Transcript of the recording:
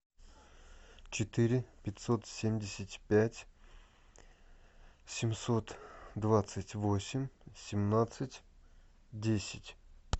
четыре пятьсот семьдесят пять семьсот двадцать восемь семнадцать десять